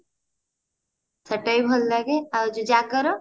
ସେଟା ବି ଭଲ ଲାଗେ ଆଉ ଯୋଉ ଜାଗର